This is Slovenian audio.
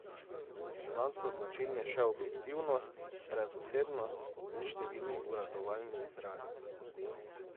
Zanj so značilni še objektivnost, brezosebnost in številni uradovalnimi izrazi.